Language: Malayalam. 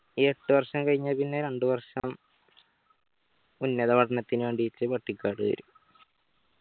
എട്ട് വർഷം കഴിഞ്ഞാ പിന്നെ രണ്ട്‌ വർഷം ഉന്നത പഠനത്തിന് വേണ്ടിയിട്ട് പട്ടിക്കാട് ചേരും